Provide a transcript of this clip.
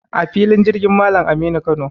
A filin jirgin Malam Aminu Kano.